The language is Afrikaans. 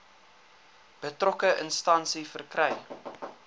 betrokke instansie verkry